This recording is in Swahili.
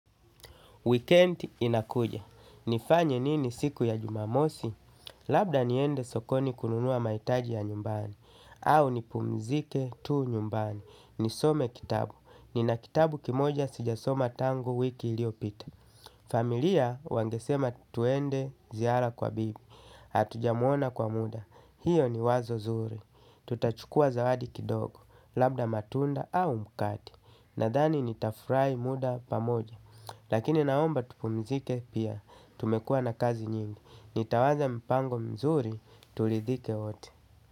Weekendi inakuja. Nifanya nini siku ya jumamosi? Labda niende sokoni kununua mahitaji ya nyumbani. Au nipumzike tu nyumbani. Nisome kitabu. Nina kitabu kimoja sijasoma tangu wiki iliyopita. Familia wangesema twende ziara kwa bibi. Atujamuona kwa muda. Hiyo ni wazo zuri. Tutachukua zawadi kidogo. Labda matunda au mkakati. Nadhani nita furahi muda pamoja. Lakini naomba tupumzike pia tumekua na kazi nyingi. Nitawaza mpango mzuri tulidhike wote.